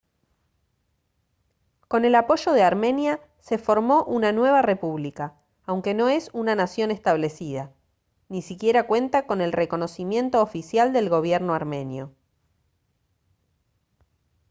con el apoyo de armenia se formó una nueva república aunque no es una nación establecida ni siquiera cuenta con el reconocimiento oficial del gobierno armenio